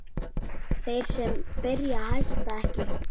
Þeir sem byrja hætta ekki!